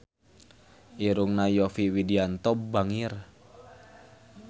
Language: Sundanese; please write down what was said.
Irungna Yovie Widianto bangir